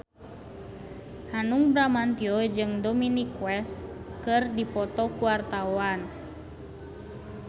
Hanung Bramantyo jeung Dominic West keur dipoto ku wartawan